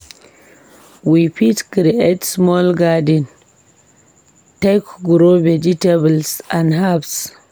We fit create small garden take grow vegetables and herbs.